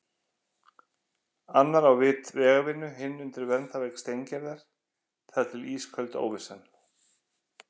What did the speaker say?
Annar á vit vegavinnu, hinn undir verndarvæng Steingerðar- þar til ísköld óvissan.